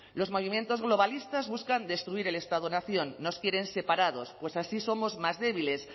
los movimientos globalistas buscan destruir el estado nación nos quieren separados pues así somos más débiles